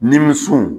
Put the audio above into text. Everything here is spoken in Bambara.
Nimisiw